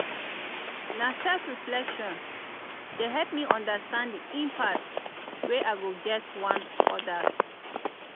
na self-reflection dey help me understand di impact wey i get one odas.